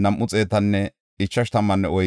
Zakaya yaray 760;